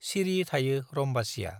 सिरि थायो रम्बासीया ।